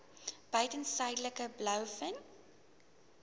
buiten suidelike blouvin